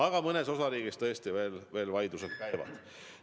Aga mõnes osariigis tõesti veel vaidlused käivad.